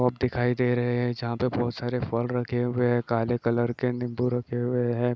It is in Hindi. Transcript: शॉप दिखाई दे रहे हैं जहाँ पर बहुत सारे फल रखे हुए हैं काले कलर के नींबू रखे हुए हैं।